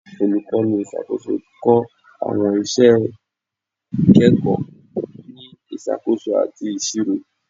Olukọni iṣakoso kọ awọn iṣẹ ikẹkọ ni Isakoso ati Iṣiro